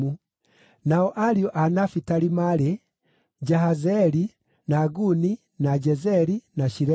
Nao Ariũ a Nafitali maarĩ: Jahazeeli, na Guni, na Jezeri, na Shilemu.